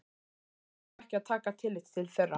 félagið á ekki að taka tillit til þeirra.